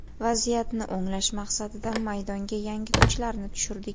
Vaziyatni o‘nglash maqsadida maydonga yangi kuchlarni tushirdik.